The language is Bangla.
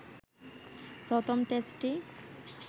প্রথম টেস্টটি